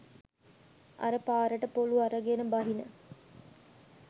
අර පාරට පොලු අරගන බහින